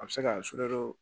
A bɛ se ka